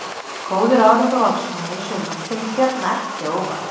Góður árangur Valsmanna í sumar kemur Bjarna ekki á óvart.